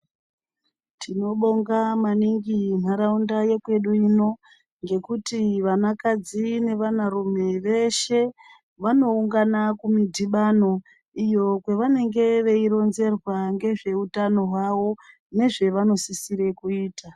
Tinobonga maningi nharaunda yekwedu ino ngekuti vanakadzi nevanarume veshe vanoungana kumudhibhano iyo kwavanenge veironzerwa ngezve utano hwavo nezvavanosisire kuita.